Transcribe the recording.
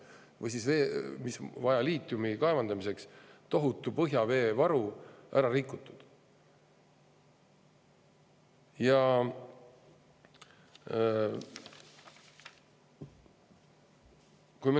Või see, et liitiumi kaevandamisel on tohutu põhjaveevaru ära rikutud.